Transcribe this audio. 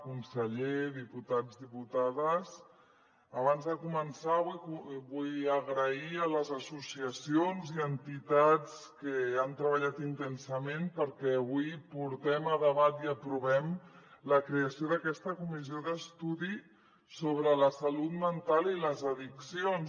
conseller diputats diputades abans de començar vull agrair a les associacions i entitats que han treballat intensament perquè avui portem a debat i aprovem la creació d’aquesta comissió d’estudi sobre la salut mental i les addiccions